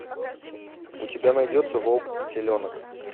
у тебя найдется волк и теленок